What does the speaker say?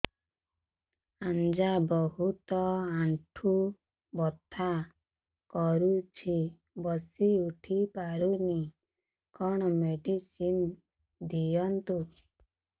ଆଜ୍ଞା ବହୁତ ଆଣ୍ଠୁ ବଥା କରୁଛି ବସି ଉଠି ପାରୁନି କଣ ମେଡ଼ିସିନ ଦିଅନ୍ତୁ